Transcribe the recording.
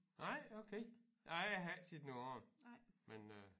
Nej okay nej jeg har ikke set nogle af dem men øh